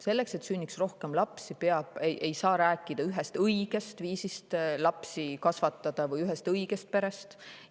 Selleks, et sünniks rohkem lapsi, ei saa rääkida ühest õigest viisist lapsi kasvatada või ühest õigest perest.